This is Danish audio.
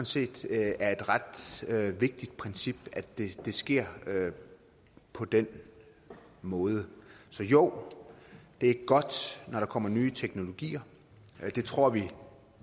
set det er et ret vigtigt princip at det sker på den måde så jo det er godt når der kommer nye teknologier det tror vi